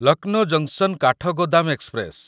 Lucknow junction Kathgodam express